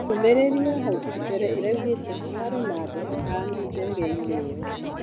Ndũmĩrĩri ya hau mbere ĩraugĩte hararĩ na andũ atano ndegeinĩ ĩyo.